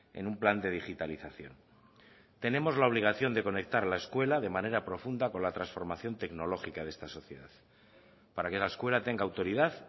en un plan de digitalización tenemos la obligación de conectar la escuela de manera profunda con la transformación tecnológica de esta sociedad para que la escuela tenga autoridad